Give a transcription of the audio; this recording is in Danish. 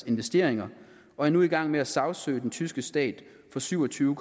investeringer og er nu i gang med at sagsøge den tyske stat for syv og tyve